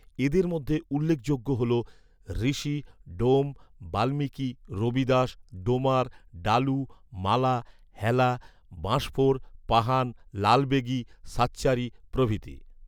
এদের মধ্যে উল্লেখযোগ্য হলো; ঋশি, ডোম, বাল্মিকী, রবিদাস, ডোমার, ডালু, মালা, হেলা, বাঁশফোর, পাহান, লালবেগী, সাচ্চারি প্রভৃতি